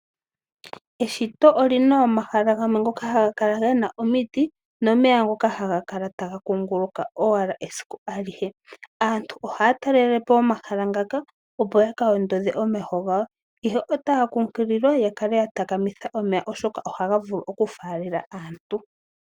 Eshito olina omahala gamwe ngoka haga kala gena omidhi, nomeya ngoka haga kala taga kunguluka owala esiku alihe. Aantu ohaya talelepo omahala ngaka opo ya ka ondodhe omeho gawo, ihe otaya kunkililwa ya kale ya takamitha omeya oshoka ohaga vulu okufalela aantu.